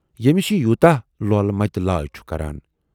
ییمِس یہِ یوٗتاہ لۅلہٕ متہٕ لائے چھے کَران۔